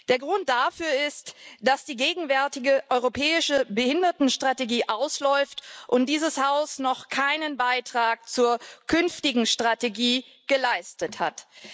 Der Grund dafür ist, dass die gegenwärtige Europäische Behindertenstrategie ausläuft und dieses Haus noch keinen Beitrag zur künftigen Strategie geleistet hat.